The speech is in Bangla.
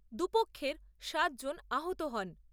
দুপক্ষের সাত জন আহত হন।